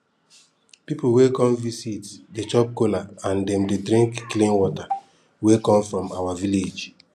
pipu wey come visit dey chop kola and dem dey drink clean water wey come from our village